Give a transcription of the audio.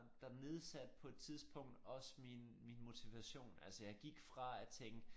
Der nedsatte på et tidspunkt også min min motivation altså jeg gik fra at tænke